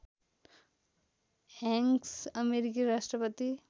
Hanks अमेरिकी राष्ट्रपति